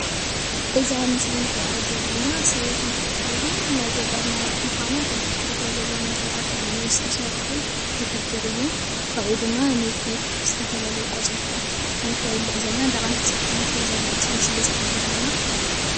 እዛ ምስሊ ንሪአ ዘለና ሰበይቲ እንትትከውን ናይ ገጠር ነባሪት ምኳና እቲ ብድሕሪታ ዘሎ ነገራት ብእምኒ ዝተሰርሑ ዝሕብር እዩ ። ካብኡ ድማ ንጤል ዝተፈላለዩ ቆፅሊታት ከምተብልዕ ዘላ እንዳቀንጠሰት ከምትህብ ዘላ እዩ እቲ ምስሊ ዝሕብረና።